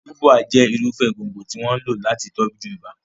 Ubwa jẹ́ irúfẹ́ gbòǹgbò tí wọ́n ń lò láti tọ́jú ibà.